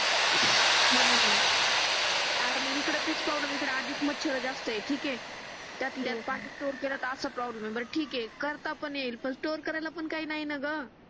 म्हणून आणि इकडे तेच प्रॉब्लेम इकडे आधीच मच्छर खूप जास्त आहेत ठीक आहे त्यात पाणी स्टोर केला तर असा प्रोब्लम पण ठीक आहे करता पण येईल पण स्टोर करायला काही नाही न ग